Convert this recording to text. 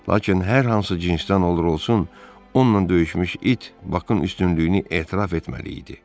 Lakin hər hansı cinsdən olur olsun, onunla döyüşmüş it Bakın üstünlüyünü etiraf etməli idi.